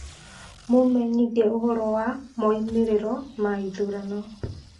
mũmenyithie ũhoro wa moimĩrĩro ma ithurano